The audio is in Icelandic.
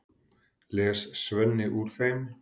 les Svenni úr þeim.